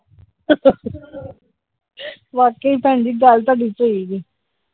ਵਾਕੇ ਭੈਣਜੀ ਗੱਲ ਤੁਹਾਡੀ ਸਹੀ ਜੇ ।